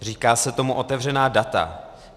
Říká se tomu otevřená data.